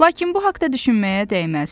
Lakin bu haqda düşünməyə dəyməz.